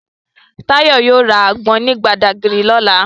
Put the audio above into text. Tayo yóò ra àgbọn ní Badagry lọ́la